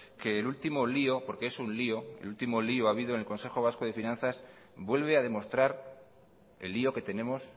que el último lío porque es un lío el último lío habido en el consejo vasco de finanzas vuelve a demostrar el lío que tenemos